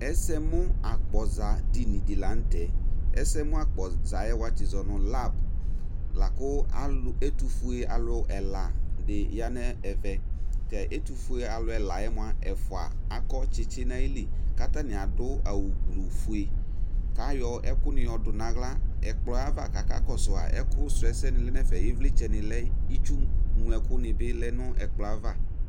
ɛsɛ mu akpɔza dini di lantɛ ɛsɛmu akpɔza yɛ watsi zɔnu lab la kò alò ɛtufue alò ɛla di ya n'ɛvɛ ɛtufue alò ɛla yɛ moa ɛfua akɔ tsitsi n'ayili k'atani adu awu gblu fue k'ayɔ ɛkòni yɔ du n'ala ɛkplɔ yɛ ava k'aka kɔsu a ɛkò srɔ ɛsɛ ni lɛ n'ɛfɛ ivlitsɛ ni lɛ itsu ŋlo ɛkò ni bi lɛ n'ɛkplɔɛ ava.